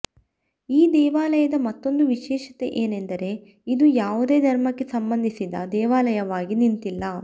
ಈ ದೇವಾಲಯದ ಮತ್ತೊಂದು ವಿಶೇಷತೆಯೇನೆಂದರೆ ಇದು ಯಾವುದೇ ಧರ್ಮಕ್ಕೆ ಸಂಬಂಧಿಸಿದ ದೇವಾಲಯವಾಗಿ ನಿಂತಿಲ್ಲ